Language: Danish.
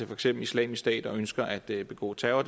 for eksempel islamisk stat og ønsker at begå terror